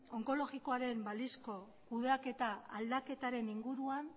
onkologikoaren balizko kudeaketa aldaketaren inguruan